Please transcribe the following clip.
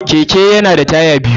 Keke yana da taya biyu.